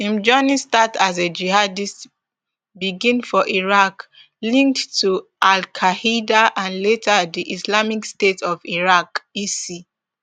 im journey as a jihadist begin for iraq linked to alqaeda and later di islamic state of iraq isi